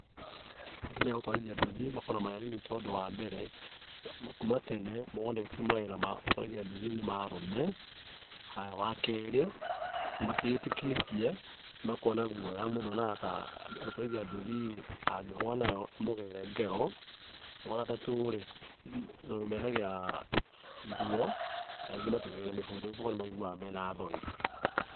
Atumia a gũtwarithia nduthi makoragwo marĩ anini tondũ wa mbere, kuma tene moonetio mawĩra ma gũtwarithia nduthi nĩ ma arũme. Haya, wa keerĩ, matiĩyĩtĩkĩtie, nĩmakoragwo na guoya mũndũ onaga ta gũtwarithia nduthi ĩĩ, angĩgwa nayo no ĩmũgere ngero. Wa gatatu rĩ, tondũ mekagĩra nguo, na aingĩ matiĩkagĩra mĩbuto. Koguo nĩmaiguaga mena thoni.